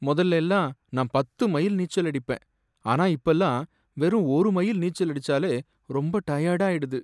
முதல்ல எல்லாம் நான் பத்து மைல் நீச்சல் அடிப்பேன், ஆனா இப்பெல்லாம் வெறும் ஒரு மைல் நீச்சல் அடிச்சாலே ரொம்ப டயர்டாயிடுது.